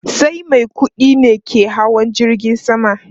Sai mai kudi ne ke hawa jirgin sama